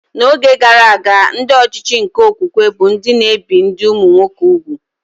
N'oge gara aga, ndị ọchịchị nke okwukwe bụ ndị na-ebi ndị ụmụnwoke úgwù